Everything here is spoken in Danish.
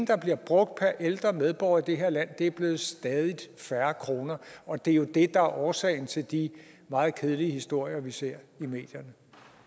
der bliver brugt per ældre medborger i det her land blevet stadig færre kroner og det er jo det der er årsagen til de meget kedelige historier vi ser i medierne